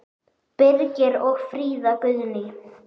Birgir og Fríða Guðný.